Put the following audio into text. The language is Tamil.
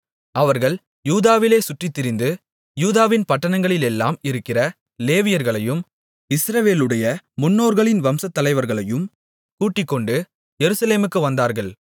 அவர்கள் யூதாவிலே சுற்றித்திரிந்து யூதாவின் பட்டணங்களிலெல்லாம் இருக்கிற லேவியர்களையும் இஸ்ரவேலுடைய முன்னோர்களின் வம்சத்தலைவர்களையும் கூட்டிக்கொண்டு எருசலேமுக்கு வந்தார்கள்